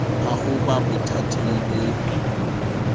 a ho ba bothateng bo